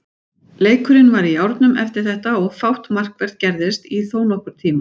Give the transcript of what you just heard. Leikurinn var í járnum eftir þetta og fátt markvert gerðist í þónokkurn tíma.